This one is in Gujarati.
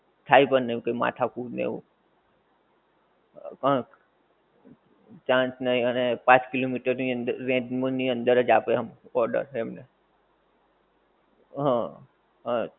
થાય પણ એવું માથા કુટ ને એવું પણ change નહીં અને પાંચ kilometer ની અંદર range ની અંદર અજ આપે આમ order એમને હ હ